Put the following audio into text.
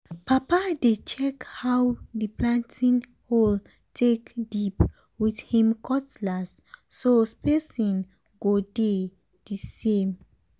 papa dey check how um the planting hole take dip with him cutlass so spacing go dey um the same. um